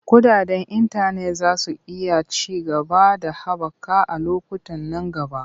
Kuɗaɗen intanet za su iya ci gaba da haɓaka a lokutan nan gaba.